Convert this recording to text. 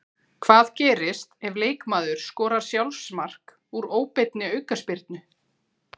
Hvað gerist ef leikmaður skorar sjálfsmark úr óbeinni aukaspyrnu?